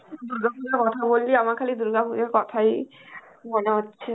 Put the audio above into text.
দুর্গাপুজোর কথা বললি, আমার খালি দুর্গা পুজোর কথাই মনে হচ্ছে.